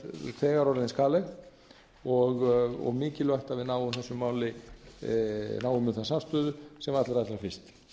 þegar orðin skaðleg og mikilvægt að við náum samstöðu um þetta mál sem allra fyrst ég legg að